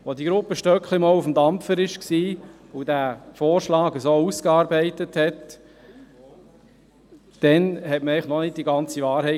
Als die Gruppe Stöckli einmal auf dem Dampfer war und diesen Vorschlag so ausarbeitete, kannte man noch nicht die ganze Wahrheit.